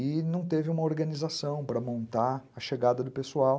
E não teve uma organização para montar a chegada do pessoal.